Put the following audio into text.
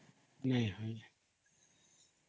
noise